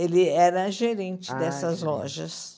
Ele era gerente dessas lojas.